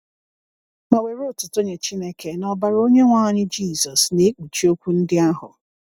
Ma were otuto nye Chineke na ọbara Onyenwe anyị Jisọs na-ekpuchi okwu ndị ahụ.